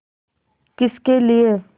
किसके लिए